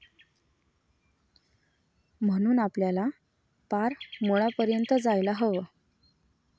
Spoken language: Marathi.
म्हणून आपल्याला पार मुळापर्यंत जायला हवं.